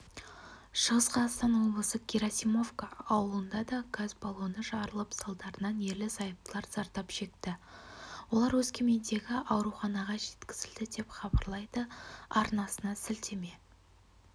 шығыс қазақстан облысы герасимовка ауылында да газ баллоны жарылып салдарынан ерлі-зайыптылар зардап шекті олар өскемендегі ауруханаға жеткізілген деп хабарлайды арнасына сілтеме